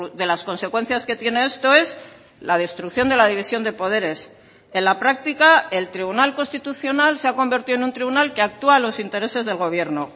de las consecuencias que tiene esto es la destrucción de la división de poderes en la práctica el tribunal constitucional se ha convertido en un tribunal que actúa a los intereses del gobierno